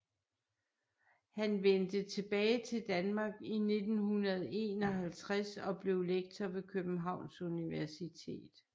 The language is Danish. Han vendte tilbage til Danmark i 1951 og blev lektor ved Københavns Universitet